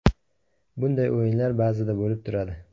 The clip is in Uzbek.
Bunday o‘yinlar ba’zida bo‘lib turadi.